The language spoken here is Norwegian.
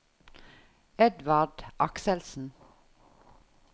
Edvard Akselsen